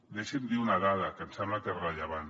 deixi’m dir una dada que em sembla que és rellevant